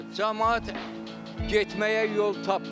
Camaat getməyə yol tapmır.